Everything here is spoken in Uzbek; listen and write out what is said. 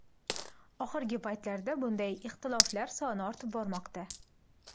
Oxirgi paytlarda bunday ixtiloflar soni ortib bormoqda.